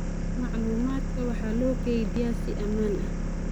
Macluumaadka waxaa loo kaydiyaa si ammaan ah.